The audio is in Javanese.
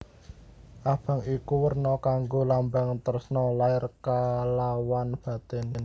Abang iku werna kanggo lambang tresna lair kalawan batin